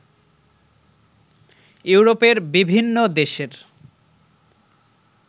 ইউরোপের বিভিন্ন দেশের